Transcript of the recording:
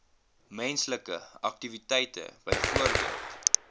menslike aktiwiteite byvoorbeeld